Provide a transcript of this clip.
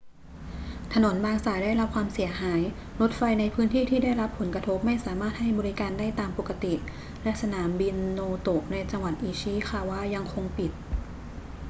ถนนบางสายได้รับความเสียหาย รถไฟในพื้นที่ที่ได้รับผลกระทบไม่สามารถให้บริการได้ตามปกติ และสนามบินโนโตะในจังหวัดอิชิคาวะยังคงปิด